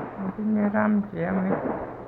Matinyei RAM cheyomei